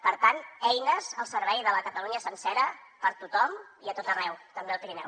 per tant eines al servei de la catalunya sencera per tothom i a tot arreu també al pirineu